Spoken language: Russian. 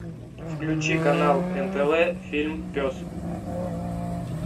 включи канал нтв фильм пес